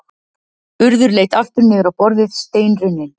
Urður leit aftur niður á borðið, steinrunnin.